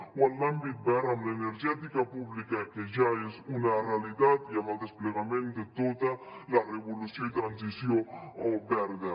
o en l’àmbit verd amb l’energètica pública que ja és una realitat i amb el desplegament de tota la revolució i transició verda